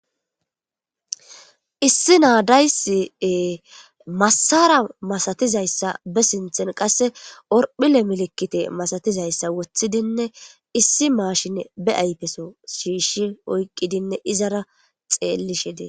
issi naadaysi masara masatizayssa be sinthen qasse orphile milikite masatizayssa woththidinne issi maashine be aypeso shiishi oyqqidinne izara xeellishi dee